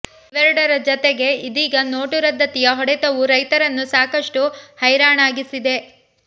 ಇವೆರೆಡರ ಜತೆಗೆ ಇದೀಗ ನೋಟು ರದ್ದತಿಯ ಹೊಡೆತವೂ ರೈತರನ್ನು ಸಾಕಷ್ಟು ಹೈರಾಣಾಗಿಸಿದೆ